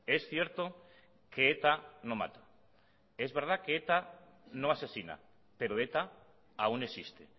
es cierto que eta no mata es verdad que eta no asesina pero eta aún existe